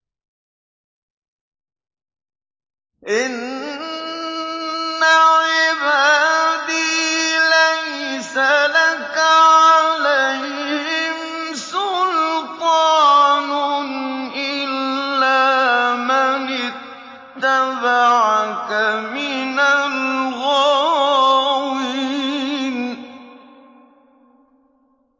إِنَّ عِبَادِي لَيْسَ لَكَ عَلَيْهِمْ سُلْطَانٌ إِلَّا مَنِ اتَّبَعَكَ مِنَ الْغَاوِينَ